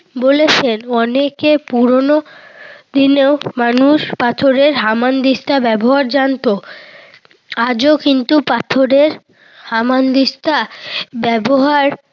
বলেছেন। অনেকে পুরোনো দিনেও পাথরের হামানদিস্তার ব্যবহার জানত। আজও কিন্তু পাথরের হামানদিস্তা ব্যবহার